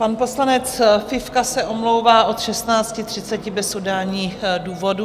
Pan poslanec Fifka se omlouvá od 16.30 bez udání důvodu.